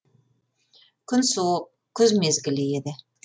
күн суық күз мезгілі еді